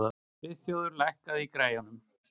Friðþjófur, lækkaðu í græjunum.